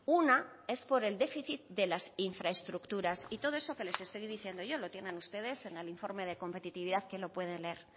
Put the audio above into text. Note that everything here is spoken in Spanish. una es por el déficit de las infraestructuras y todo eso que les estoy diciendo yo lo tienen ustedes en el informe de competitividad que lo pueden leer